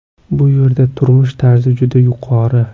Bu yerda turmush tarzi juda yuqori.